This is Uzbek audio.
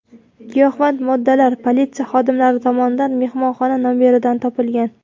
Giyohvand moddalar politsiya xodimlari tomonidan mehmonxona nomeridan topilgan.